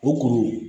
O kuru